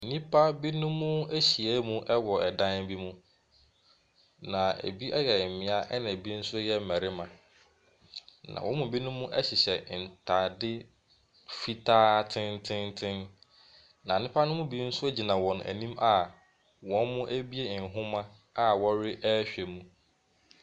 Nnipa binom ahyia mu wɔ dan bi mu. Na bi yɛ mmea, ɛna bi nso yɛ mmarima. Na wɔn mu binom hyehyɛ ntare fitaa tententen. Na nnipa no mu bi nso gyina wɔn anim a wɔrebuo nhoma a wɔrehwɛ mu.